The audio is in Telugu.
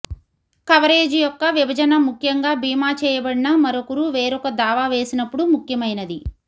కవరేజ్ యొక్క విభజన ముఖ్యంగా భీమా చేయబడిన మరొకరు వేరొక దావా వేసినప్పుడు ముఖ్యమైనది